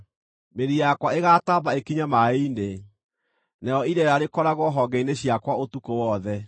Mĩri yakwa ĩgataamba ĩkinye maaĩ-inĩ, narĩo ireera rĩkoragwo honge-inĩ ciakwa ũtukũ wothe.